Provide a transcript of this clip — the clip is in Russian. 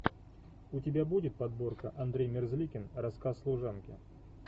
у тебя будет подборка андрей мерзликин рассказ служанки